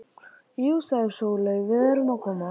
Jú, sagði Sóley, við erum að koma.